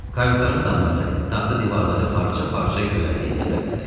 Kayutların damları, taxta divarları parça-parça göyərtəyə səpələndi.